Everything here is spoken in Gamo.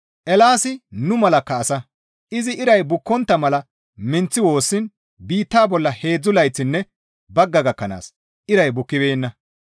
Eelaasi nu malakka asa; izi iray bukkontta mala minththi woossiin biitta bolla heedzdzu layththinne bagga gakkanaas iray bukkibeenna.